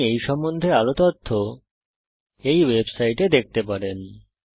আপনি এই সম্বন্ধে আরও তথ্য এই ওয়েবসাইটে দেখতে পারেন